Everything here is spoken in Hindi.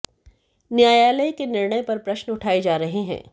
न्यायालय के निर्णय पर प्रश्न उठाये जा रहे हैं